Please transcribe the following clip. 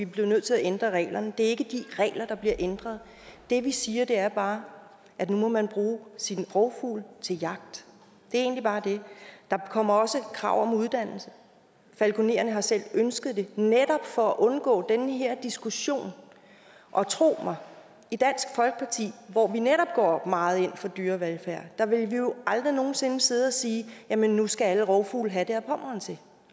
blev nødt til at ændre reglerne det er ikke de regler der bliver ændret det vi siger er bare at nu må man bruge sin rovfugl til jagt det er egentlig bare det der kommer også krav om uddannelse falkonererne har selv ønsket det netop for at undgå den her diskussion og tro mig i dansk folkeparti hvor vi netop går meget ind for dyrevelfærd ville vi jo aldrig nogen sinde sidde og sige at nu skal alle rovfugle have det ad pommern til